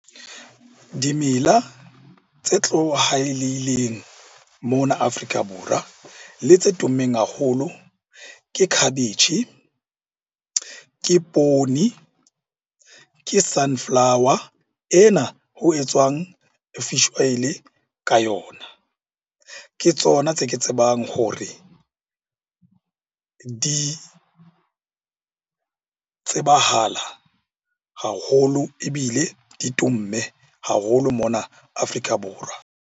Dimela tse tlohaleileng mona Afrika Borwa le tse tummeng haholo ke khabetjhe, ke poone, ke sunflower ena ho etswang fish oil-e ka yona. Ke tsona tse ke tsebang hore di tsebahala haholo, ebile di tumme haholo mona Afrika Borwa.